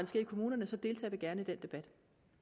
sker i kommunerne deltager vi gerne i den debat